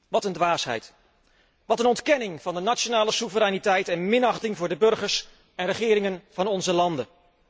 Wat een dwaasheid. Wat een ontkenning van de nationale soevereiniteit en minachting voor de burgers en regeringen van onze landen.